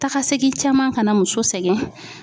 Takasegin caman ka na muso sɛgɛn